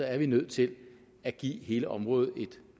er vi nødt til at give hele området et